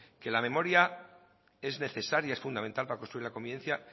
que la memoria es necesaria es fundamental para construir la convivencia